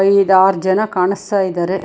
ಐದು ಆರ್ ಜನ ಕಾಣಿಸ್ತಾ ಇದ್ದಾರೆ.